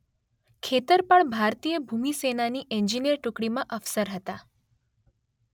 ખેતરપાળ ભારતીય ભૂમિસેનાની એન્જિનિયર ટુકડીમાં અફસર હતા